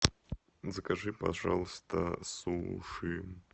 закажи пожалуйста суши